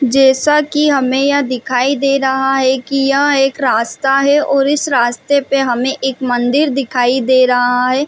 जैसा की हमें यहाँ दिखाई दे रहा है की यह एक रास्ता है और इस रस्ते पे हमें एक मंदिर दिखाई दे रहा है।